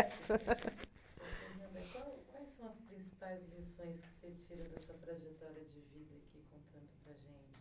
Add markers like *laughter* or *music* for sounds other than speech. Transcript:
*laughs* *unintelligible* Qual quais foram as principais lições que você tira da sua tragetória de vida aqui contando para a gente